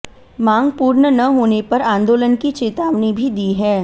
माँग पूर्ण न होने पर आंदोलन की चेतावनी भी दी है